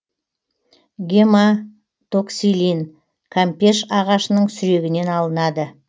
гематоксилин кампеш ағашының сүрегінен алынады